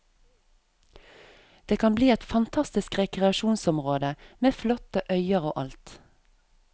Det kan bli et fantastisk rekreasjonsområde, med flotte øyer og alt.